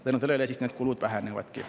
Tänu sellele siis kulud vähenevadki.